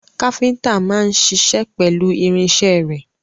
Káfíntà náà ń ṣiṣẹ́ pẹ̀lú irinṣẹ́ rẹ̀.